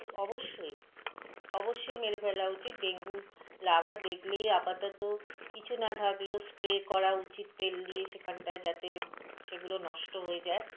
অবশ্যই অবশ্যই মেরে ফেলা উচিত ডেঙ্গুর larva দেখলেই আপাতত কিছু না থাকলেও spray করা উচিত তেল দিয়ে সেখানটায় যাতে সেগুলো নষ্ট হয়ে যায়